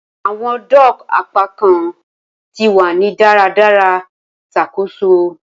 Awọn dock apakan ti wa ni daradara ṣakoso.